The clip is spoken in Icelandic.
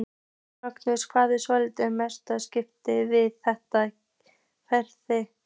Magnús: Hvað er svona mest spennandi við þetta verkefni?